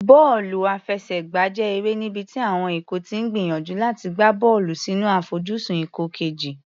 Bọ́ọ̀lù àfẹsẹ̀gbá jẹ́ eré níbi tí àwọn ikọ̀ ti ń gbìyànjú láti gbá bọ́ọ̀lù sínú àfojúsùn ikọ̀ kejì.